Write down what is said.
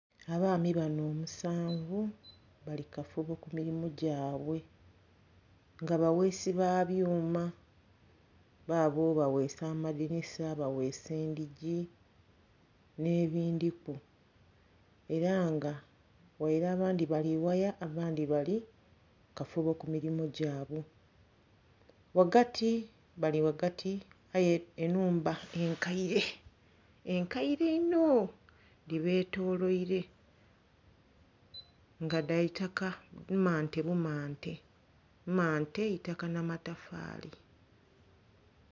Abaami bano omusanvu bali kukafubo ku mirimu gyabwe nga bagheesi ba byuma, baabo bagheesa amadhinisa, bagheesa endhigi n'ebindhiku. Era nga ghaire abandhi bali ghaya abandhi bali mukafubo ku mirimo gyabwe. Ghagati bali ghati aye ennhumba enkaire, enkaire inho dhibetoloire nga dha itaka mmante bu mmante, mmante itaka na matafaali.